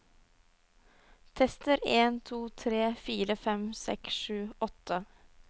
Tester en to tre fire fem seks sju åtte